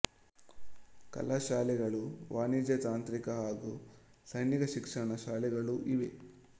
ಕಲಾ ಶಾಲೆಗಳೂ ವಾಣಿಜ್ಯ ತಾಂತ್ರಿಕ ಹಾಗೂ ಸೈನಿಕ ಶಿಕ್ಷಣ ಶಾಲೆಗಳೂ ಇವೆ